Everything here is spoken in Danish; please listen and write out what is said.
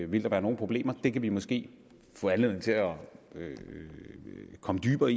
ville være nogle problemer det kan vi måske få anledning til at komme dybere